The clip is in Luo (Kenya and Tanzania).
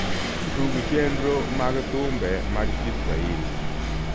tug chernro mag thumbe mag kiswahili